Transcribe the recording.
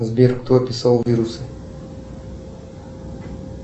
сбер кто описал вирусы